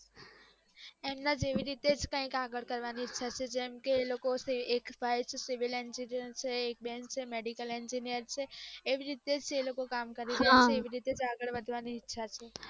એમના જેવી રીતે આગળ કયક કરવાની ઈચ્છા છે જેમ કે એ લોકો એક ભાઈ છે civilengineer છે એક બેન છે medicalengineer એવી રીતેજ એ કામ કરી રહ્યા છે આવી રીતેજ કામ કરવાની ઈચ્છા છે